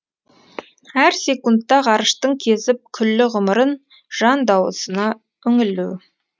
әр секундта ғарыштың кезіп күллі ғұмырын жан дауысына үңілу